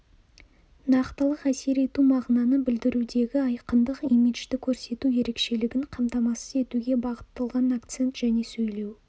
нақтылық әсер ету мағынаны білдірудегі айқындық имиджді көрсету ерекшелігін қамтамасыз етуге бағытталған акцент және сөйлеу